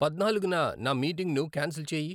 పద్నాలుగున నా మీటింగ్ను కాన్సిల్ చేయి